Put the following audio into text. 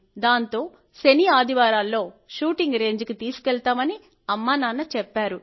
దాంతో శని ఆదివారాల్లో షూటింగ్ రేంజికి తీసుకెళ్తామని అమ్మానాన్న చెప్పారు